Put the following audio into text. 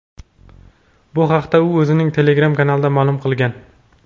Bu haqda u o‘zining Telegram kanalida ma’lum qilgan .